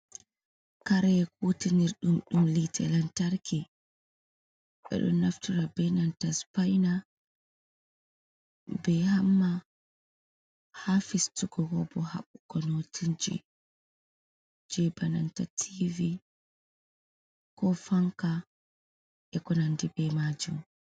Karee kutinirdum dum hite lamtarki. Bedo naftura be nanta spaina be hamma hafistugo kobo habbugo nottijje bananta T.V ko fanka e konandi be majum.